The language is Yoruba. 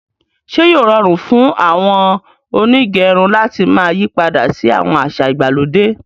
Ṣe yóò rọrun fún àwọn onígẹrun làti máa yípadà sí àwọn àṣà ìgbàlódé?